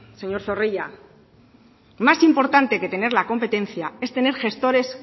señor zorrilla más importante que tener la competencia es tener gestores